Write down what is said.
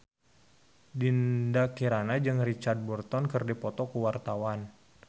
Dinda Kirana jeung Richard Burton keur dipoto ku wartawan